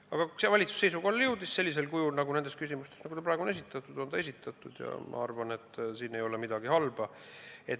Aga see valitsus jõudis nendes küsimustes seisukohale sellisel kujul, nagu see eelnõu on praegu esitatud, ja ma arvan, et siin ei ole midagi halba.